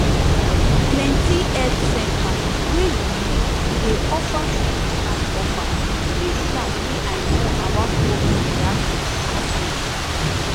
plenty health center wey you know dey offer free class offer free class wey i know about public reaction to outbreak